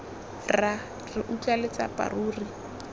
rra re utlwa letsapa ruri